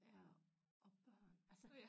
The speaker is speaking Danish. Ja og børn altså